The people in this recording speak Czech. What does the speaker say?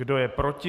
Kdo je proti?